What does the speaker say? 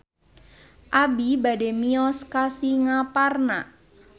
Abi bade mios ka Singaparna